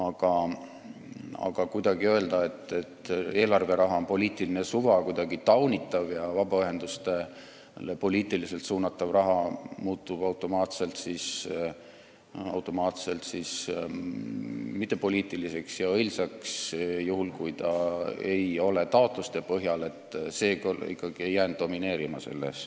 Aga see arvamus, et eelarveraha suunamise alus on poliitiline suva, mis on taunitav, ja et vabaühendustele suunatav raha muutub automaatselt mittepoliitiliseks ja õilsaks, juhul kui seda ei saada taotluste põhjal, ei jäänud ikkagi komisjonis domineerima.